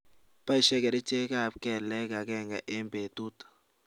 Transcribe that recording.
paishe kerichek ap kelek agenge eng petut